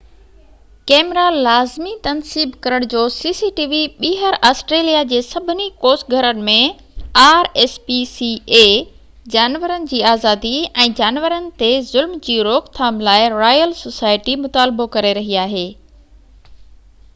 جانورن جي آزادي ۽ جانورن تي ظلم جي روڪ ٿام لاءِ رائل سوسائٽي rspca ٻيهر آسٽريليا جي سڀني ڪوس گھرن ۾ cctv ڪئميرا لازمي تنصيب ڪرڻ جو مطالبو ڪري رهي آهي